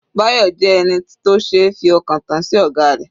Bayo jẹ́ ẹni tó ṣeé fi ọkàn tán sí ọ̀gá rẹ̀.